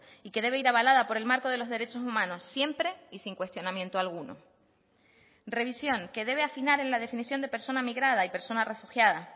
y que debe ir avalada por el marco de los derechos humanos siempre y sin cuestionamiento alguno revisión que debe afinar en la definición de persona migrada y persona refugiada